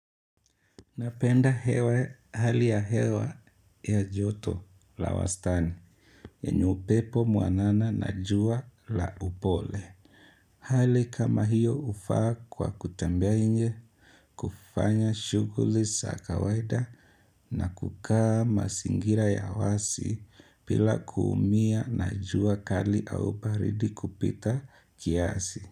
Napenda hali ya hewa ya joto la wastani yenye upepo mwanana na jua la upole. Hali kama hiyo ufaa kwa kutembea inje kufanya shuguli za kawaida na kukaa mazingira ya wazi bila kuumia na jua kali au baridi kupita kiasi.